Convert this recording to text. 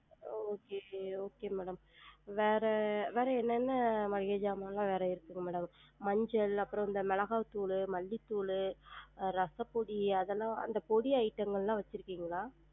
Okay okay madam வேற வேற என்னென்ன மளிகை ஜாமான்லாம் வேற இருக்குது madam மஞ்சள் அப்றம் மெளகா தூளு, மல்லித்தூளு, ரசப்பொடி அதெல்லாம் அந்த பொடி item ங்களாம் வச்சுருக்கீங்களா?